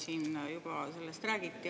Siin sellest juba räägiti.